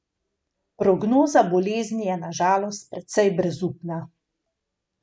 Prognoza bolezni je na žalost precej brezupna.